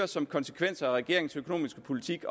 som en konsekvens af regeringens økonomiske politik